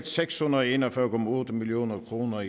seks hundrede og en og fyrre million kroner